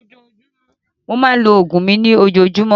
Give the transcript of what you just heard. Mo máa ń lo oògùn mi ní Ojoojúmọ́